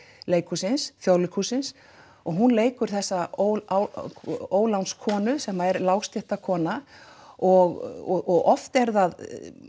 leikhússins Þjóðleikhússins og hún leikur þessa sem er og oft er það